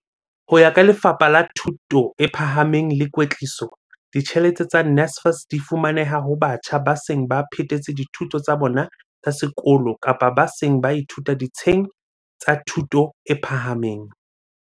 Ho ya ka Lefapha la Thuto e Phahameng le Kwetliso, ditjhelete tsa NSFAS di fumaneha ho batjha ba seng ba phethetse dithuto tsa bona tsa sekolo kapa ba seng ba ithuta ditsheng tsa thuto e phahameng.